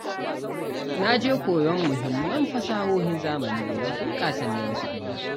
Na je koyon muhimman fasahohin zamani saboda bunƙasa neman kuɗina.